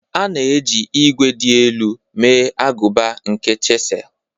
A na-eji ígwè dị elu mee agụba nke chisel.